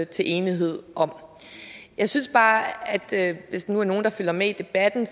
til enighed om jeg synes bare at hvis der er nogen der følger med i debatten